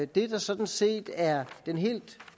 det der sådan set er en helt